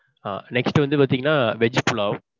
ஆ. next வந்து பாத்தீங்கன்னா veg pulav.